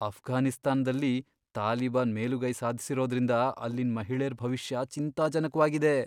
ಅಫ್ಘಾನಿಸ್ತಾನ್ದಲ್ಲಿ ತಾಲಿಬಾನ್ ಮೇಲುಗೈ ಸಾಧ್ಸಿರೋದ್ರಿಂದ ಅಲ್ಲಿನ್ ಮಹಿಳೇರ್ ಭವಿಷ್ಯ ಚಿಂತಾಜನಕ್ವಾಗಿದೆ.